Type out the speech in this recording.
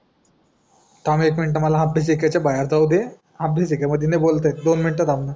थांब एक मिनटं मला आपल्या ठेक्यच्या बाहेर जाऊदे आपल्या ठेक्या मध्ये नाय बोलताय दोन मिनिटं थांबणं